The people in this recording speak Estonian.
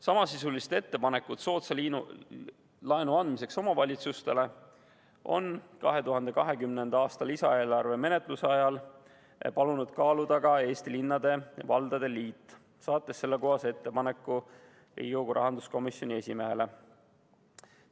Samasisulist ettepanekut soodsa laenu andmiseks omavalitsustele on 2020. aasta lisaeelarve menetluse ajal palunud kaaluda ka Eesti Linnade ja Valdade Liit, saates selle kohta ettepaneku Riigikogu rahanduskomisjoni esimehele.